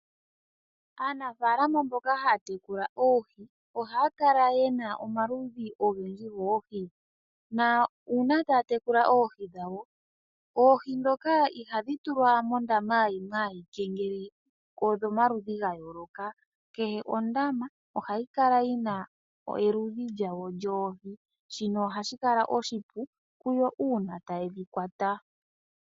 Aanafaalama mboka haya tekula oohi ohaya kala ye na omaludhi ogendji goohi nuuna taya tekula oohi dhawo oohi ndhoka ihadhi tulwa mondama yimwe ayike ngele odhomaludhi ga yooloka. Kehe ondama ohayi kala yi na eludhi lyawo lyoohi. Shino ohashi kala oshipu kuyo uuna taye dhi kwata.